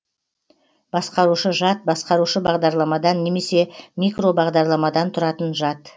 басқарушы жад басқарушы бағдарламадан немесе микробағдарламадан тұратын жад